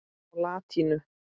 á latínu.